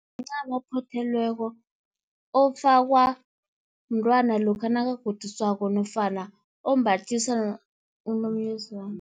Mncamo ophothelweko, ofakwa mntwana lokha nakagoduswako nofana ombathiswa unomyezane.